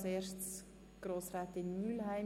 Das Wort hat Grossrätin Mühlheim.